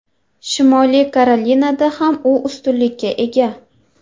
Shimoliy Karolinada ham u ustunlikka ega.